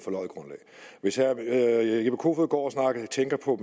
hvis herre jeppe kofod går og tænker på